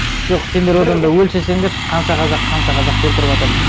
жоқ сендер одан да өлшесендерші қанша қазақ қанша қазақты өлтіріватыр